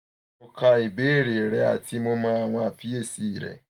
mo ka ibeere rẹ ati mo mọ awọn ifiyesi rẹ